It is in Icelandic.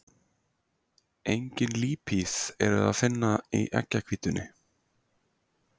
Engin lípíð er að finna í eggjahvítunni.